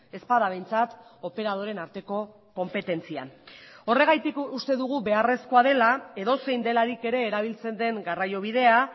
ez bada behintzat operadoreen arteko konpetentzian horregatik uste dugu beharrezkoa dela edozein delarik ere erabiltzen den garraiobidea